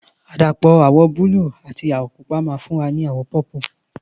Àdàpọ̀ àwọ̀ búlù àti àwọ̀ pupa ma fún wa ní àwọ̀ pọ́pùù